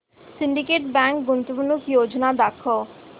Syndicate Bank गुंतवणूक योजना दाखव